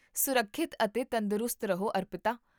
ਸੁਰੱਖਿਅਤ ਅਤੇ ਤੰਦਰੁਸਤ ਰਹੋ ਅਰਪਿਤਾ